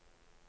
filmer